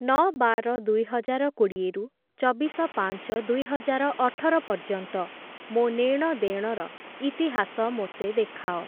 ନଅ ବାର ଦୁଇହଜାରକୋଡ଼ିଏ ରୁ ଚବିଶ ପାଞ୍ଚ ଦୁଇହଜାରଅଠର ପର୍ଯ୍ୟନ୍ତ ମୋ ନେ'ଣ ଦେ'ଣର ଇତିହାସ ମୋତେ ଦେଖାଅ।